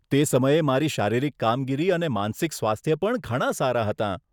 તે સમયે મારી શારીરિક કામગીરી અને માનસિક સ્વાસ્થ્ય પણ ઘણાં સારા હતાં.